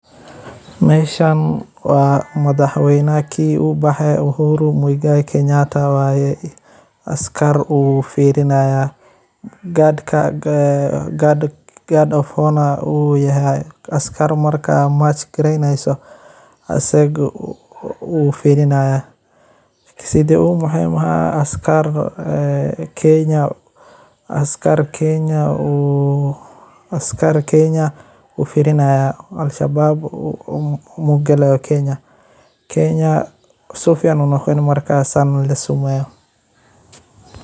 Meshaan waa madhax weynaha kenya ubaxe Uhuru Mwingai Kenyatta waye askar uu firinaya gard of honor uuyahy. askar marka march gareyensa asaga uu firinaya. Sidhi ubaxey askar kenya uu firinaya Alshabab magala kenya. kenya sifican hormar lasameeyo.